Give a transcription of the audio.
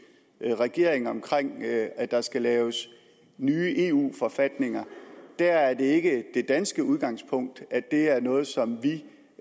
regering om at der skal laves nye eu forfatninger er det ikke det danske udgangspunkt at det er noget som vi